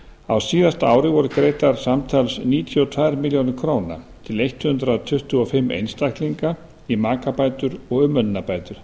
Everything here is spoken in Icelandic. á síðasta ári voru greiddar samtals níutíu og tvær milljónir króna til hundrað tuttugu og fimm einstaklinga í makabætur og umönnunarbætur